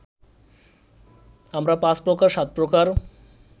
আমরা পাঁচ প্রকার, সাত প্রকার